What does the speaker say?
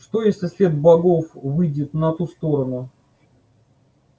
что если след богов выйдет на ту сторону